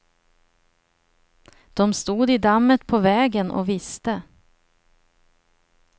De stod i dammet på vägen och visste.